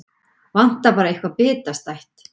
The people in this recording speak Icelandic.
Vantar bara eitthvað bitastætt.